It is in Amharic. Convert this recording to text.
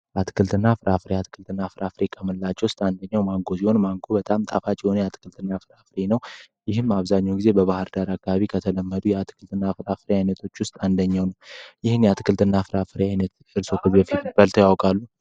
አትክልትና ፍራፍሬ አፍሪካ አንደኛውን ማንጎ በጣም ጣፋጭ ነው ይህም አብዛኛው ጊዜ በባህርዳር ከተለመደው የአትክልትና አይነቶች ውስጥ አንደኛውን ማንጎ ነዉ። ይሄን አትክልትና ፍራፍሬ ያውቃሉ